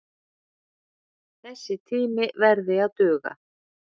Þessi tími verði að duga.